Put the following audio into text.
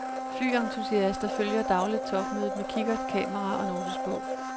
Flyentusiaster følger dagligt topmødet med kikkert, kamera og notesbog.